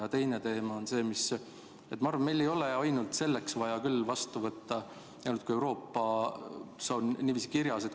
Ja teine teema on see, et ma arvan, et meil ei ole vaja seda seadust vastu võtta ainult selle pärast, et Euroopas on niiviisi kirjas.